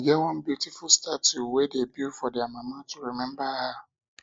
e get one beautify statue um wey dey build for their mama to remember her